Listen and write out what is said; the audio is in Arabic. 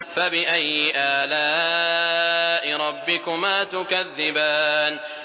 فَبِأَيِّ آلَاءِ رَبِّكُمَا تُكَذِّبَانِ